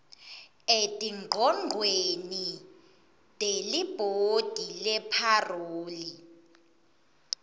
etingcogcweni telibhodi lepharoli